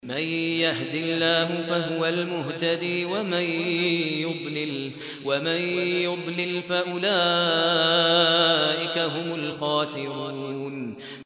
مَن يَهْدِ اللَّهُ فَهُوَ الْمُهْتَدِي ۖ وَمَن يُضْلِلْ فَأُولَٰئِكَ هُمُ الْخَاسِرُونَ